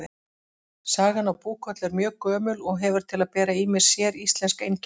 Sagan af Búkollu er mjög gömul og hefur til að bera ýmis séríslensk einkenni.